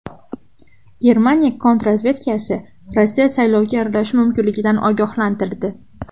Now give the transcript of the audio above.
Germaniya kontrrazvedkasi Rossiya saylovga aralashishi mumkinligidan ogohlantirdi.